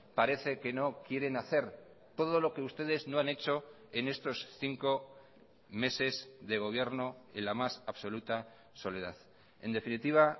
parece que no quieren hacer todo lo que ustedes no han hecho en estos cinco meses de gobierno en la más absoluta soledad en definitiva